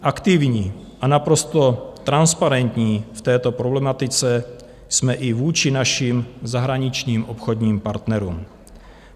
Aktivní a naprosto transparentní v této problematice jsme i vůči našim zahraničním obchodním partnerům.